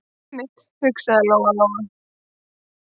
Einmitt, hugsaði Lóa- Lóa.